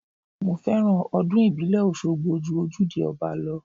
Mo fẹ́ràn ọdún ìbílẹ̀ Oṣogbo ju ojúde ọba lọ.